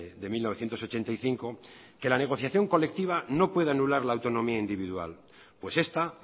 de mil novecientos ochenta y cinco que la negociación colectiva no puede anular la autonomía individual pues esta